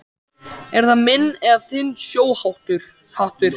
Er það minn eða þinn sjóhattur